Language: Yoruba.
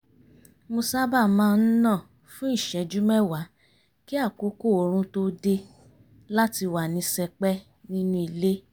mo sábà má ń nà fún ìṣẹ́jú mẹ́wàá kí àkókò oorun tó dé láti wà ní sẹpẹ́ nínú ilé